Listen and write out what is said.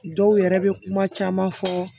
Dɔw yɛrɛ bɛ kuma caman fɔ